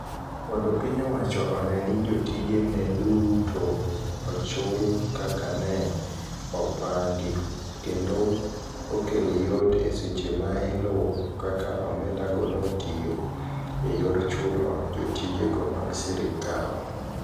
Mondo piny owacho one ni jotije ne duto ochul kaka ne opangi, kendo okel yot e seche ma iluwo kaka omenda go notiyo e yor chulo jotijego mag sirkal.